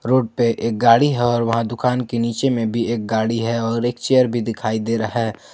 Road पे एक गाड़ी हो और वहां दुकान के नीचे में भी एक गाड़ी है और एक चेयर भी दिखाई दे रहा है।